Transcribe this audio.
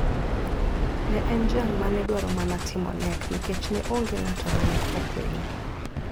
Ne en jal ma ne dwaro mana timo nek nikech ne onge ng`ato ma ne okwinye.